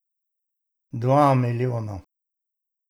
Dva milijona.